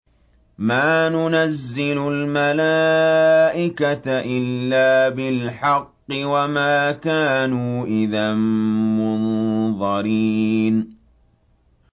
مَا نُنَزِّلُ الْمَلَائِكَةَ إِلَّا بِالْحَقِّ وَمَا كَانُوا إِذًا مُّنظَرِينَ